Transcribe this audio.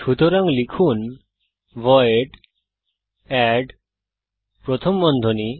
সুতরাং লিখুন void add প্রথম বন্ধনী